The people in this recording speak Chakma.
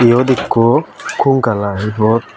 iyot ekku konkal aai ibot.